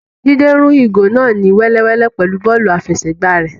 Jide rún ìgò náà ni wẹ́lewẹ̀le pẹlú bọ́ọ̀lù afẹsẹgba rẹ.